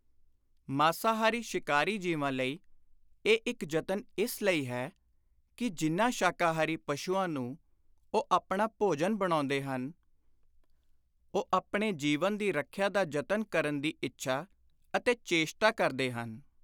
ਮਾਸਾਹਾਰੀ ਸ਼ਿਕਾਰੀ ਜੀਵਾਂ ਲਈ ਇਹ ਇਕ ਯਤਨ ਇਸ ਲਈ ਹੈ ਕਿ ਜਿਨ੍ਹਾਂ ਸ਼ਾਕਾਹਾਰੀ ਪਸ਼ੂਆਂ ਨੂੰ ਉਹ ਆਪਣਾ ਭੋਜਨ ਬਣਾਉਂਦੇ ਹਨ, ਉਹ ਆਪਣੇ ਜੀਵਨ ਦੀ ਰੱਖਿਆ ਦਾ ਯਤਨ ਕਰਨ ਦੀ ਇੱਛਾ ਅਤੇ ਚੇਸ਼ਟਾ ਕਰਦੇ ਹਨ।